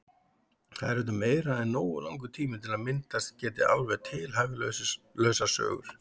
Það er auðvitað meira en nógu langur tími til að myndast geti alveg tilhæfulausar sögur.